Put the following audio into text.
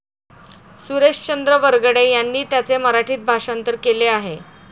सुरेशचंद्र वरघडे यांनी त्याचे मराठीत भाषांतर केले आहे.